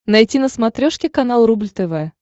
найти на смотрешке канал рубль тв